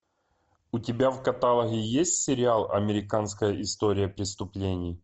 у тебя в каталоге есть сериал американская история преступлений